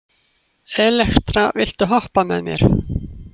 Elektra, viltu hoppa með mér?